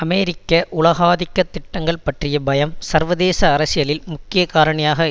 அமெரிக்க உலகாதிக்க திட்டங்கள் பற்றிய பயம் சர்வதேச அரசியலில் முக்கிய காரணியாக